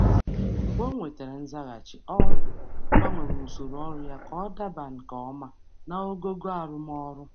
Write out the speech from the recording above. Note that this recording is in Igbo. Mgbe o nwetara nzaghachi, ọ gbanwere usoro ọrụ ya ka ọ daba nke ọma naogogo arụmọrụ.